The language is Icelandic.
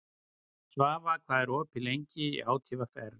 Svafa, hvað er opið lengi í ÁTVR?